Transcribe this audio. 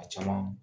A caman